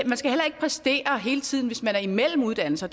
præstere hele tiden hvis man er imellem uddannelser